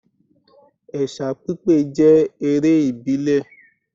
Ẹ̀sà pípé jẹ́ eré ìbílẹ̀